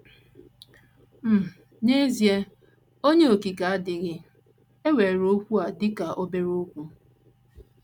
um N’ezie, Onye Okike adịghị ewere okwu a dị ka obere okwu.